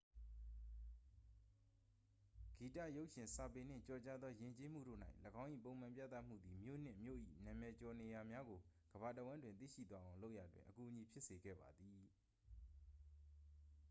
ဂီတ ရုပ်ရှင် စာပေနှင့် ကျော်ကြားသောယဉ်ကျေးမှုတို့၌ ၎င်း၏ ပုံမှန်ပြသမှုသည် မြို့နှင့် မြို့၏နာမည်ကျော်နေရာများကို ကမ္ဘာတစ်ဝှမ်းတွင်သိရှိသွားအောင်လုပ်ရာတွင် အကူအညီဖြစ်စေခဲ့ပါသည်